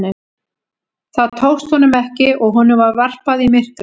Það tókst honum ekki og honum var varpað í myrkrið.